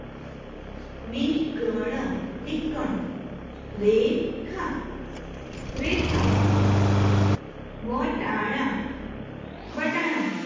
બીકણ બીકણ રેખા રેખા વટાણા વટાણા